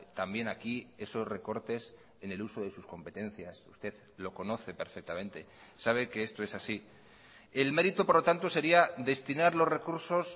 también aquí esos recortes en el uso de sus competencias usted lo conoce perfectamente sabe que esto es así el mérito por lo tanto sería destinar los recursos